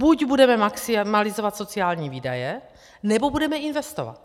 Buď budeme maximalizovat sociální výdaje, nebo budeme investovat.